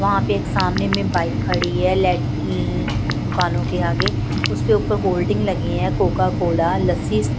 वहां पे एक सामने में बाइक खड़ी है लेट दुकानों के आगे उसके ऊपर होल्डिंग लगी हैकोका कोला लस्सी--